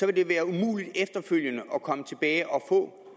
vil det være umuligt efterfølgende at komme tilbage og få